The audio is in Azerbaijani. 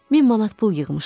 Min manat pul yığmışdım.